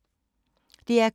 DR K